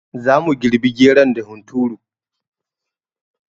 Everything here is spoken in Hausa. Zamu girɓi geron da hunturu